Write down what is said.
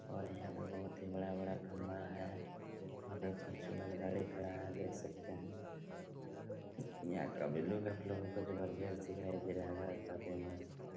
और यहाँ पे बहोत ही बड़ा-बड़ा खंभा हैं यहाँ पे फॉर्च्यूनर गाड़ी खड़ा हैं देख सकते हैं यहाँ का भी लुक काफी जबरदस्त दिखाई दे रहा होगा और काफ़ी मस्त--